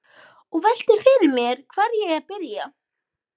Og velti fyrir mér hvar eigi að byrja.